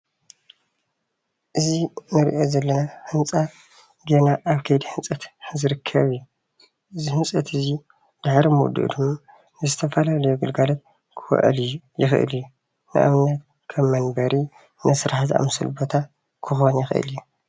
እዚ እንሪኦ ዘለና ህንፃ ገና ኣብ ከይዲ ህንፀት ዝርከብ እዩ፣ እዚ ህንፀት እዙይ ድሕሪ ምውድኡ ድማ ንዝተፈላለዩ ግልጋሎት ክውዕል ይክእል እዩ፣ ንኣብነት ከም መንበሪ ንስራሕ ዝኣምሰሉ ቦታ ክኮን ይክእል እዩ፡፡